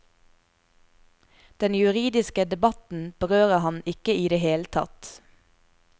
Den juridiske debatten berører han ikke i det hele tatt.